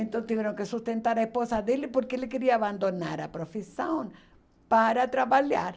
Então, tiveram que sustentar a esposa dele, porque ele queria abandonar a profissão para trabalhar.